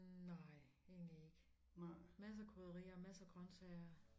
Nej egentlig ikke masser krydderier masser grøntsager